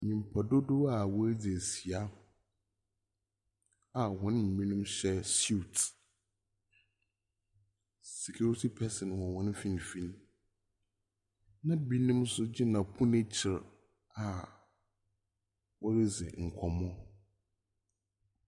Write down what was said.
Nyimpa dodow a woedzi ehyia a hɔn mu binom hyɛ suit, security person wɔ hɔn finimfin, na binom so gyina pon ekyir a woridzi nkɔmbɔ.